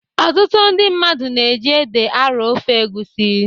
Ọtụtụ ndị mmadụ na-eji ede arọ ofe egwusi.